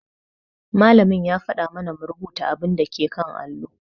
Malamin ya faɗa mana mu rubuta abun dake allo.